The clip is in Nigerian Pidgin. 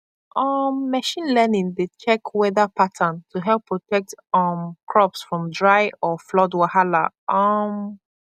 um machine learning dey check weather pattern to help protect um crops from dry or flood wahala um